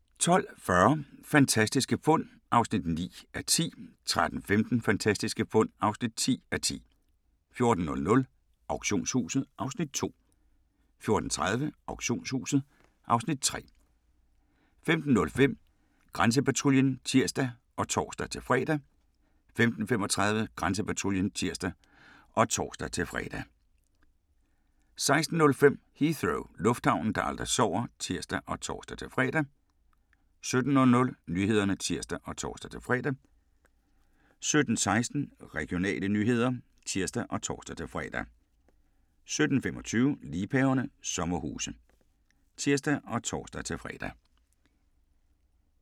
12:40: Fantastiske fund (9:10) 13:15: Fantastiske fund (10:10) 14:00: Auktionshuset (Afs. 2) 14:30: Auktionshuset (Afs. 3) 15:05: Grænsepatruljen (tir og tor-fre) 15:35: Grænsepatruljen (tir og tor-fre) 16:05: Heathrow - lufthavnen, der aldrig sover (tir og tor-fre) 17:00: Nyhederne (tir og tor-fre) 17:16: Regionale nyheder (tir og tor-fre) 17:25: Liebhaverne - sommerhuse (tir og tor-fre)